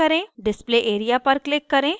display area पर click करें